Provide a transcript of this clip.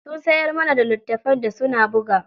Sun siyar mana da littafin da suna buga.